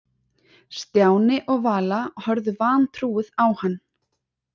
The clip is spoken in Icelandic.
Stjáni og Vala horfðu vantrúuð á hann.